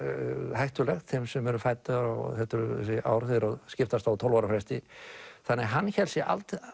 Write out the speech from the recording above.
hættulegt þeim sem eru fæddir á þessi ár þeirra þau skiptast á tólf ára fresti þannig að hann hélt sig